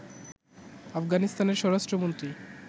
আফগানিস্তানের স্বরাষ্ট্রমন্ত্রী